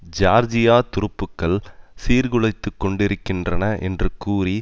Georgia துருப்புக்கள் சீர்குலைத்து கொண்டிருக்கின்றன என்று கூறி